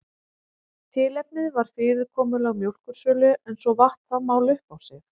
Tilefnið var fyrirkomulag mjólkursölu en svo vatt það mál upp á sig.